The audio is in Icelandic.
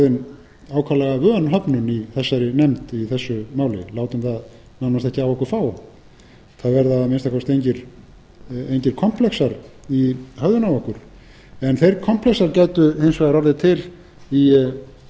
vön höfnun í þessari nefnd í þessu máli látum það nánast ekkert á okkur fá það verða að minnsta kosti engir komplexar í höfðinu á okkur en þeir komplexar gætu hins vegar orðið til í